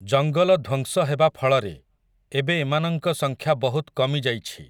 ଜଙ୍ଗଲ ଧ୍ୱଂସ ହେବା ଫଳରେ, ଏବେ ଏମାନଙ୍କ ସଂଖ୍ୟା ବହୁତ୍ କମିଯାଇଛି ।